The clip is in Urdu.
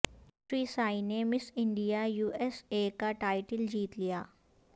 شری سائنی نے Miss India U S A کا ٹائٹل جیت لیا